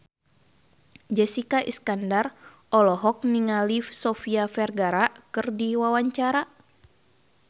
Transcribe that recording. Jessica Iskandar olohok ningali Sofia Vergara keur diwawancara